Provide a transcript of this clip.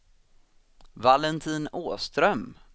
Valentin Åström